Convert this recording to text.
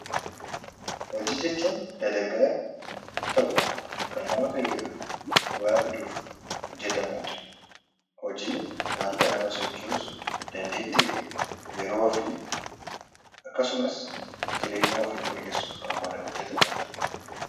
Hojii jechuun dalagaa tokko kan nama fayyaduu fi waa fiduuf hojjetamu dha. Hojiin wanta nama sochoosu, dandeettii fi yeroo ofii akkasumas jireenya ofii fooyyessuuf kan hojjetamu dha.